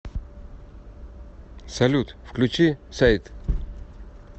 салют включи сэйд